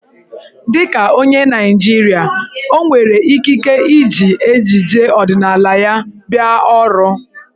Dị ka onye Naịjirịa, o nwere ikike iji ejiji ọdịnaala ya bịa ọrụ.